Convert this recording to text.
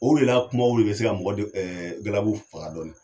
O de na kumaw de be se ka mɔgɔ galabu faga dɔɔni.